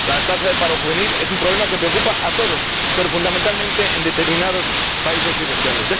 La tasa de paro juvenil es un problema que preocupa a todos, pero fundamentalmente en determinados países y regiones.